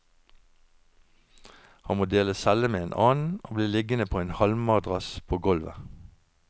Han må dele celle med en annen, og blir liggende på en halmmadrass på golvet.